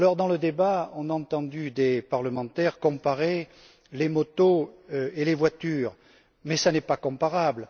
Alors, dans le débat, on a entendu des parlementaires comparer les motos et les voitures, mais ce n'est pas comparable.